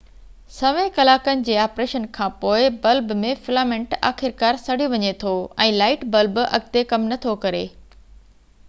سوين ڪلاڪن جي آپريشن کان پوءِ بلب ۾ فلامينٽ آخرڪار سڙي وڃي ٿو ۽ لائٽ بلب اڳتي ڪم نٿو ڪري